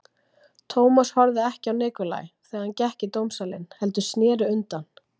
Thomas horfði ekki á Nikolaj þegar hann gekk í dómsalinn heldur sneri sér undan.